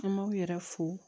An b'aw yɛrɛ fo